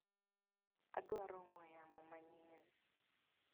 Adwaro ong'we yamo manyien.